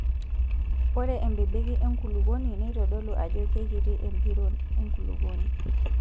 Ore embebeki enkulukuoni neitodolu ajo keikiti empiron enkulukuoni.